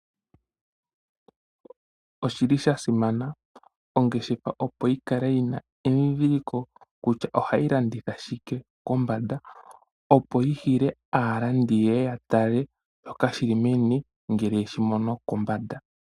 Oshili sha simana ongeshefa opo yikale yina endhindhiliko kutya ohayi landitha shike kombanda, opo yi hile aalandi yeye yatale shoka shili meni, ngele yeshimono kombanda.